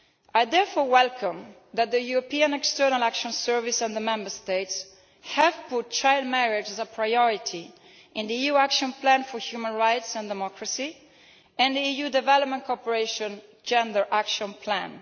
I welcome the fact that the European External Action Service and the Member States have made child marriage a priority in the EU Action Plan for Human Rights and Democracy and the EU Development Cooperation Gender Action Plan.